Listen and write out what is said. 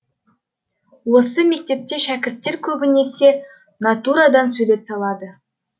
осы мектепте шәкірттер көбінесе натурадан сурет салады